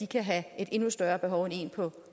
kan have et endnu større behov end en på